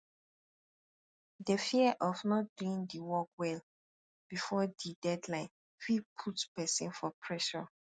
the fear of not doing di work well before di deadline fit put person for pressure